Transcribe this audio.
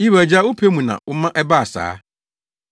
Yiw, Agya, wopɛ mu na woma ɛbaa saa.